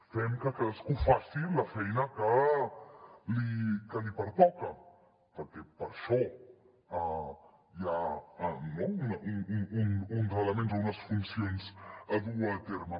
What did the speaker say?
fem que cadascú faci la feina que li pertoca perquè per això hi ha no uns elements o unes funcions a dur a terme